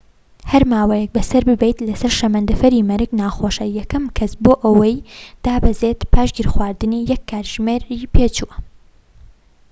هەر ماوەیەك بەسەر ببەیت لەسەر شەمەندەفەری مەرگ ناخۆشە یەکەم کەس بۆ ئەوەی دابەزێت پاش گیرخواردنی یەك کاتژمێری پێچوو